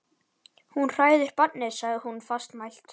Þú hræðir barnið, sagði hún fastmælt.